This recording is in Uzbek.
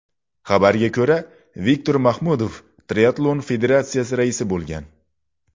Xabarga ko‘ra, Viktor Mahmudov Triatlon federatsiyasi rais bo‘lgan.